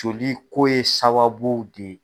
Joli ko ye sababu de.